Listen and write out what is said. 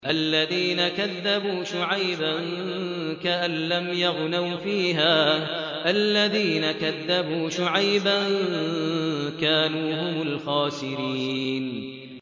الَّذِينَ كَذَّبُوا شُعَيْبًا كَأَن لَّمْ يَغْنَوْا فِيهَا ۚ الَّذِينَ كَذَّبُوا شُعَيْبًا كَانُوا هُمُ الْخَاسِرِينَ